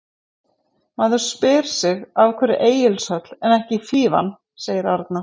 Maður spyr sig af hverju Egilshöll, en ekki Fífan? sagði Arnar.